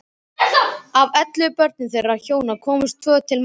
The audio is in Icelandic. Af ellefu börnum þeirra hjóna komust tvö til manns.